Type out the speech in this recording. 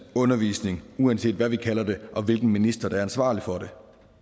undervisning uanset hvad vi kalder det og hvilken minister der er ansvarlig for det